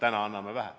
Täna anname vähe.